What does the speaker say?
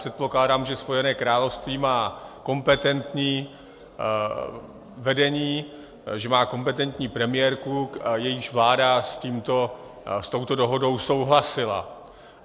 Předpokládám, že Spojené království má kompetentní vedení, že má kompetentní premiérku, jejíž vláda s touto dohodou souhlasila.